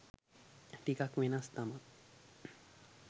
ටිකක් වෙනස් තමා